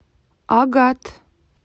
агат